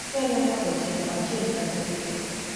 onyalo mako tielo achiel kata gitee